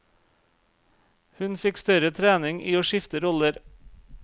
Hun fikk større trening i å skifte roller.